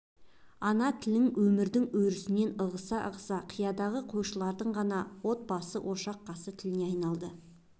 ана тілің өмірдің өрісінен ығыса-ығыса қияндағы қойшылардың ғана отбасы ошақ қасы тіліне айналды